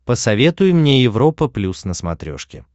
посоветуй мне европа плюс на смотрешке